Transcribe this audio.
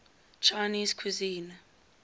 chinese cuisine